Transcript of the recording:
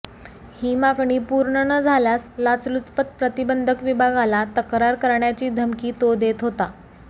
ही मागणी पूर्ण न झाल्यास लाचलुचपत प्रतिबंधक विभागाला तक्रार करण्याची धमकी तो देत होता